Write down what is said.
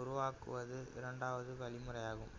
உருவாக்குவது இரண்டாவது வழிமுறையாகும்